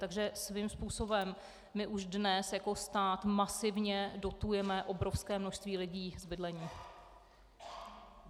Takže svým způsobem my už dnes jako stát masivně dotujeme obrovské množství lidí v bydlení.